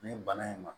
Nin bana in ma